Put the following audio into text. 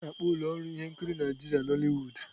A na-akpọ ụlọ ọrụ ihe nkiri Nigeria Nollywood.